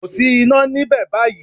Kò sí iná níbẹ̀ báyìí